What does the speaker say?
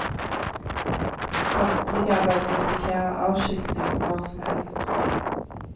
Samtlige av dem risikerer avskilting når som helst.